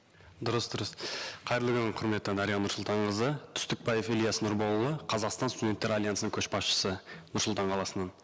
дұрыс дұрыс қайырлы күн құрметті дариға нұрсұлтанқызы түстікбаев ілияс нұрболұлы қазақстан студенттер альянсының көшбасшысы нұр сұлтан қаласынан